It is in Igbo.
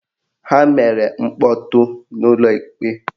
Ha mere mkpọtụ n'ụlọ ikpe